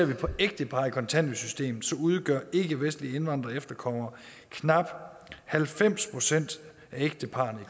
det gælder ægtepar i kontanthjælpssystemet udgør ikkevestlige indvandrere og efterkommere knap halvfems procent af ægteparrene i